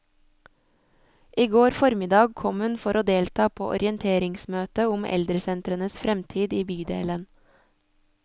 I går formiddag kom hun for å delta på orienteringsmøtet om eldresentrenes fremtid i bydelen.